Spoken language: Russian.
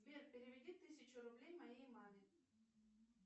сбер переведи тысячу рублей моей маме